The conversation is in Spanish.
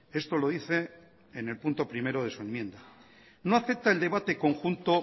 esto lo dice en el punto primero de su enmienda no acepta el debate conjunto